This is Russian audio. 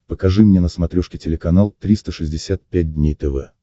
покажи мне на смотрешке телеканал триста шестьдесят пять дней тв